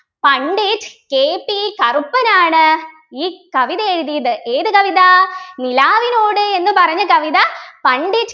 Pandit KP Karuppan ആണ് ഈ കവിത എഴുതിയത് ഏത് കവിത നിലാവിനോട് എന്ന് പറഞ്ഞ കവിത പണ്ഡിറ്റ്